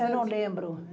Eu não lembro.